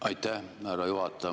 Aitäh, härra juhataja!